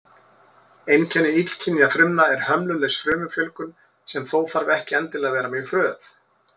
Einkenni illkynja frumna er hömlulaus frumufjölgun, sem þó þarf ekki endilega að vera mjög hröð.